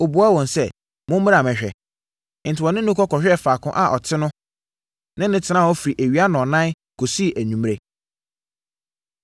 Ɔbuaa wɔn sɛ, “Mommra mmɛhwɛ.” Enti, wɔne no kɔ kɔhwɛɛ faako a ɔte no ne no tenaa hɔ firi awia nnɔnnan kɔsii anwummerɛ.